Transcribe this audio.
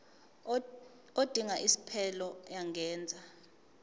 odinga isiphesphelo angenza